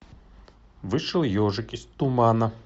вышел ежик из тумана